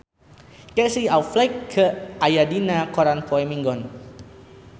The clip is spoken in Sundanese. Casey Affleck aya dina koran poe Minggon